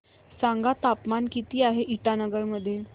सांगा तापमान किती आहे इटानगर मध्ये